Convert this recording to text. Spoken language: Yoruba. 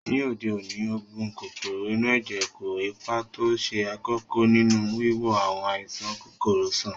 Ní òde òní, oògùn kòkòrò inú ẹ̀jẹ̀ kó ipa tó ṣe kókó nínú wíwo àwọn àìsàn kòkòrò sàn